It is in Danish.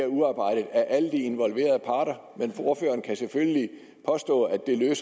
er udarbejdet af alle de involverede parter men ordføreren kan selvfølgelig påstå at det ikke